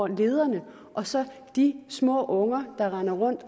lederne og så de små unger der render rundt